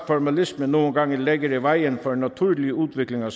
formalisme nogle gange lægger i vejen for en naturlig udvikling af